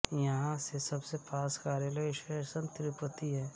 यहां से सबसे पास का रेलवे स्टेशन तिरुपति है